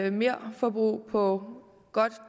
et merforbrug på godt